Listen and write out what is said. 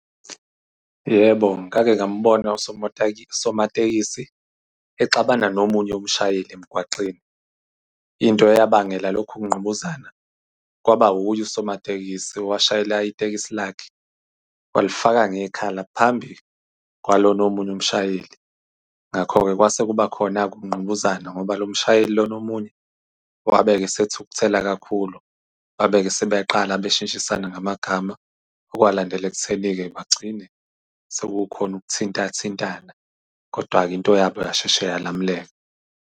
Yebo, ngake ngambona usomatekisi exabana nomunye umshayeli emgwaqeni. Into eyabangela lokhu ukungqubuzana kwaba uye usomatekisi, owashayela itekisi lakhe, walifaka ngekhala phambi kwalona omunye umshayeli. Ngakho-ke kwase kuba khona-ke ukungqubuzana, ngoba lo mshayeli lona omunye wabe esethukuthela kakhulu. Babe-ke sebeyaqala beshintshisana ngamagama, okwalandela ekutheni-ke bagcine sekukhona ukuthinta-thintana. Kodwa-ke into yabo yashesha yalamuleka.